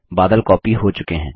बादल कॉपी हो चुके हैं